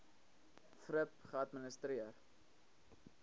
thrip geadministreer